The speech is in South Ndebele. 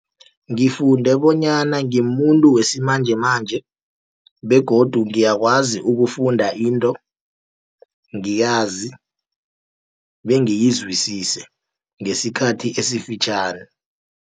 Ngifunde bonyana ngimumuntu wesimanjemanje begodu ngiyakwazi ukufunda into ngiyazi bengiyizwisise ngesikhathi esifitjhani.